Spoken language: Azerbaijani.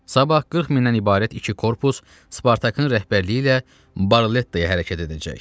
Sabah 40 mindən ibarət iki korpus Spartakın rəhbərliyi ilə Barlettaya hərəkət edəcək.